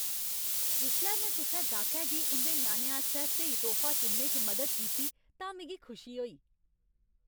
जिसलै में कुसै गाह्कै गी उं'दे ञ्याणे आस्तै स्हेई तोह्फा चुनने च मदद कीती तां मिगी खुशी होई।